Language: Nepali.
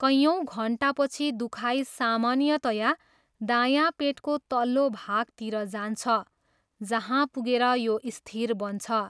कैयौँ घन्टापछि दुखाइ सामान्यतया दायाँ पेटको तल्लो भागतिर जान्छ, जहाँ पुगेर यो स्थिर बन्छ।